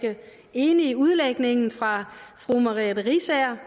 enig i udlægningen fra fru merete riisager